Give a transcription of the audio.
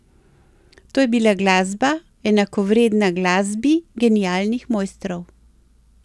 To je bila glasba, enakovredna glasbi genialnih mojstrov.